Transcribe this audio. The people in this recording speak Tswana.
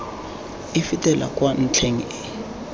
e fetela kwa ntlheng e